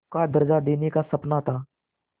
का दर्ज़ा देने का सपना था